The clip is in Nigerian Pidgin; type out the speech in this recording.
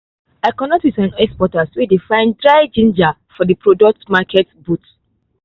i connect with some exporters wey dey find dried ginger for the product market booth.